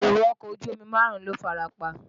Èrò ọkọ̀ ojú omi márùn-ún ló farapa.